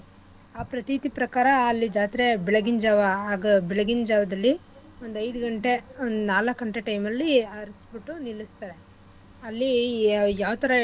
ಆ ಪ್ರತೀತಿ ಪ್ರಕಾರ ಅಲ್ಲಿ ಜಾತ್ರೆ ಬೆಳಗಿನ್ ಜಾವ ಆಗ ಬೆಳಗಿನ್ ಜಾವದಲ್ಲಿ ಒಂದು ಐದು ಗಂಟೆ ನಾಲಕ್ಕು ಗಂಟೆ time ಅಲ್ಲಿ ಹರಸ್ಬುಟ್ಟು ನಿಲ್ಲಸ್ತಾರೆ ಅಲ್ಲಿ ಯಾವ್~ ಯಾವ್ ಥರಾ.